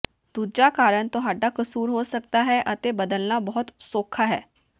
ਦੂਜਾ ਕਾਰਨ ਤੁਹਾਡਾ ਕਸੂਰ ਹੋ ਸਕਦਾ ਹੈ ਅਤੇ ਬਦਲਣਾ ਬਹੁਤ ਸੌਖਾ ਹੈ